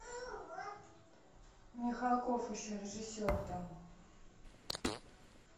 михалков еще режиссер там